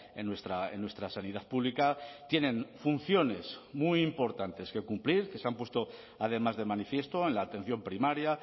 en nuestra sanidad pública tienen funciones muy importantes que cumplir que se han puesto además de manifiesto en la atención primaria